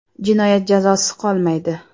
“Jinoyat jazosiz qolmaydi.